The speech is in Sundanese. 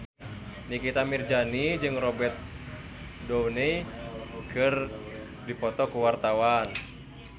Nikita Mirzani jeung Robert Downey keur dipoto ku wartawan